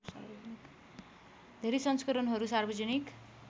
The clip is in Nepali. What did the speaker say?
धेरै संस्करणहरू सार्वजनिक